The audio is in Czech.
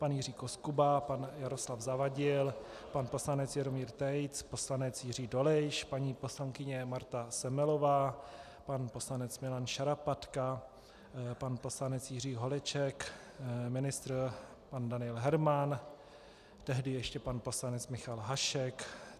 Pan Jiří Koskuba, pan Jaroslav Zavadil, pan poslanec Jeroným Tejc, poslanec Jiří Dolejš, paní poslankyně Marta Semelová, pan poslanec Milan Šarapatka, pan poslanec Jiří Holeček, ministr pan Daniel Herman, tehdy ještě pan poslanec Michal Hašek.